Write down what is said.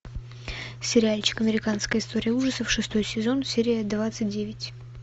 сериальчик американская история ужасов шестой сезон серия двадцать девять